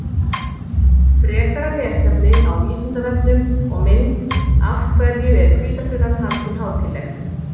Frekara lesefni á Vísindavefnum og mynd Af hverju er hvítasunnan haldin hátíðleg?